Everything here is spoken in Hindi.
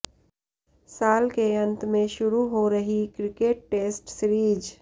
साल के अंत में शुरू हो रही क्रिकेट टेस्ट सीरीज